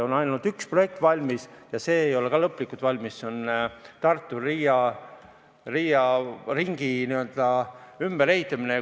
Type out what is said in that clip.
On ainult üks projekt ja see ei ole ka lõplikult valmis, see on Tartus Riia ringi ümberehitamine.